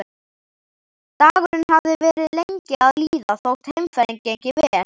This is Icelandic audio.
Dagurinn hafði verið lengi að líða þótt heimferðin gengi vel.